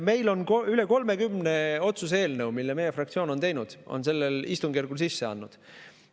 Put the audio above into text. Meil on üle 30 otsuse eelnõu, mille meie fraktsioon on teinud ja sellel istungjärgul sisse andnud.